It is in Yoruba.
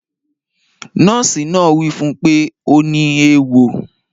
Nọ́ọ̀sì náà wí fún pé ọ ní ewọ